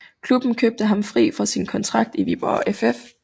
Klubben købte ham fri fra sin kontrakt i Viborg FF